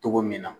Cogo min na